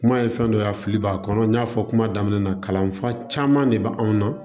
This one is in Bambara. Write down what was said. Kuma ye fɛn dɔ ye a fili b'a kɔnɔ n y'a fɔ kuma daminɛ na kalanfa caman de bɛ anw na